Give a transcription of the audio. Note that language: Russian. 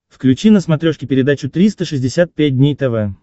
включи на смотрешке передачу триста шестьдесят пять дней тв